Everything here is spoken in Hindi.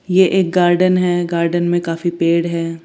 यह एक गार्डन है गार्डन में काफी पेड़ हैं।